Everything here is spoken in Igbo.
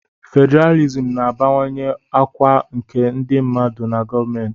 Fedralịsm na-abawanye ọkwa nke ndị mmadụ na gọọmentị.